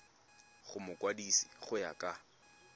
go mokwadise go ya ka